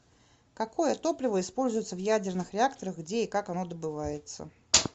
какое топливо используется в ядерных реакторах где и как оно добывается